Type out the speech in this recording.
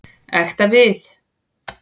Ekta við.